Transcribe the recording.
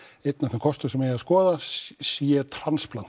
einn af þeim kostum sem ætti að skoða c